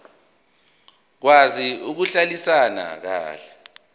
okwazi ukuhlalisana kahle